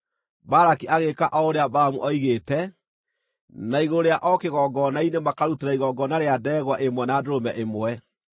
Balaki agĩĩka o ũrĩa Balamu oigĩte, na igũrũ rĩa o kĩgongona-inĩ makarutĩra igongona rĩa ndegwa ĩmwe na ndũrũme ĩmwe.